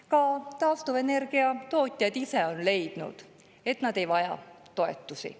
Ka taastuvenergia tootjad ise on leidnud, et nad ei vaja toetusi.